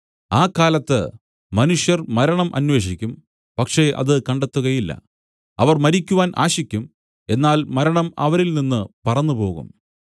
ആ കാലത്ത് മനുഷ്യർ മരണം അന്വേഷിക്കും പക്ഷേ അത് കണ്ടെത്തുകയില്ല അവർ മരിക്കുവാൻ ആശിക്കും എന്നാൽ മരണം അവരിൽ നിന്നു പറന്നുപോകും